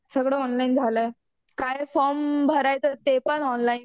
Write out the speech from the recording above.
सगळं ऑनलाईन झालंय. काय फॉर्म भरायचं ते पण ऑनलाईन.